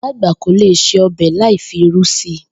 Ìyá àgbà kò lè se o̩bè̩ láì fi irú si